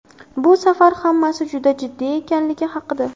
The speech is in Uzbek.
Bu safar hammasi juda jiddiy ekanligi haqida !